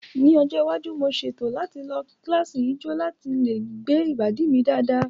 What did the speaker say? Ní ọjọ́ iwájú, mo ṣètò láti lọ kíláàsì ijó láti lè gbé ìbàdí mi dáadáa